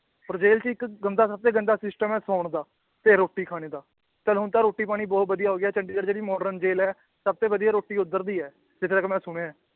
ਔਰ ਜੇਲ੍ਹ ਚ ਇੱਕ ਗੰਦਾ ਸਭ ਤੋਂ ਗੰਦਾ system ਹੈ ਸੌਣ ਦਾ ਤੇ ਰੋਟੀ ਖਾਣੇ ਦਾ, ਚੱਲ ਹੁਣ ਤਾਂ ਰੋਟੀ ਪਾਣੀ ਬਹੁਤ ਵਧੀਆ ਹੋ ਗਿਆ ਚੰਡੀਗੜ੍ਹ ਜਿਹੜੀ modern ਜੇਲ੍ਹ ਹੈ ਸਭ ਤੋਂ ਵਧੀਆ ਰੋਟੀ ਉੱਧਰ ਦੀ ਹੈ ਜਿੱਥੇ ਤੱਕ ਮੈਂ ਸੁਣਿਆ ਹੈ